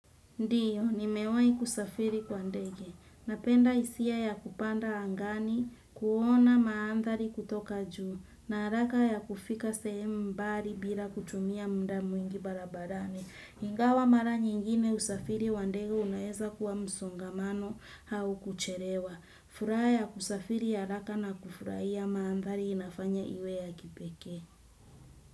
Ndiyo, nimewai kusafiri kwa ndege. Napenda isia ya kupanda angani, kuona maandhali kutoka juu, na haraka ya kufika sehemu mbali bila kutumia mda mwingi barabarani. Ingawa mara nyingine usafiri, wa ndege unaeza kuwa msongamano hau kucherewa. Furaya kusafiri ya haraka na kufuraiya maandhali inafanya iwe ya kipeke.